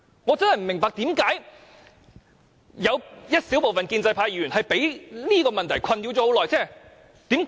我真的不明白為何有小部分建制派議員會被這問題困擾這麼久。